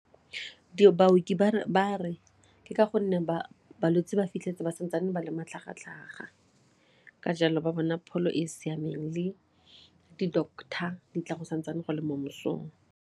Baoki ba re ke ka gonne balwetse ba fitlheletse ba santsane bo le matlhagatlhaga ka jalo ba bona pholo e e siameng le di-doctor di tla go santsane go le mo mosong.